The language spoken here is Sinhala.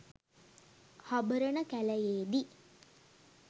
හබරණ කැලයේ දී